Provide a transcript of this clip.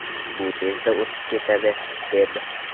Bu tezda o‘tib ketadi”, - deb.